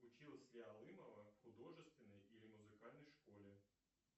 училась ли алымова в художественной или музыкальной школе